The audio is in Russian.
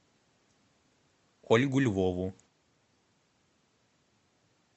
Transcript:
ольгу львову